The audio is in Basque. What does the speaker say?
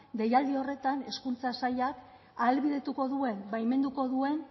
deialdi horretan hezkuntza sailak ahalbidetuko duen baimenduko duen